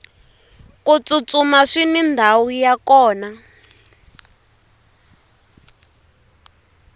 ku tsutsuma swini ndhawu ya kona